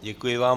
Děkuji vám.